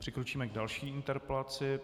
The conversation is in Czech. Přikročíme k další interpelaci.